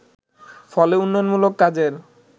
ফলে উন্নয়নমূলক কাজের